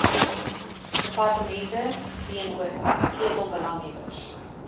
departemente teenoor sleutelbelanghebbers